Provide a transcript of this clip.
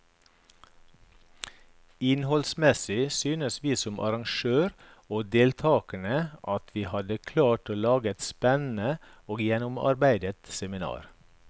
Innholdsmessig synes vi som arrangører og deltakerne at vi hadde klart å lage et spennende og gjennomarbeidet seminar.